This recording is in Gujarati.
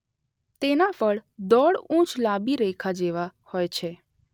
તેનાં ફળ દોઢ ઉંચ લાંબી રેખા જેવાં હોય છે.